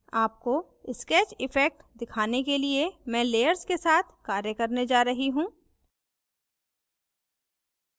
आपको sketch effect दिखाने के लिए मैं layers के साथ कार्य करने जा रही हूँ